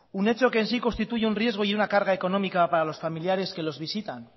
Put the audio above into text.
un hecho que en sí constituye un riesgo y una carga económica para los familiares que los visitan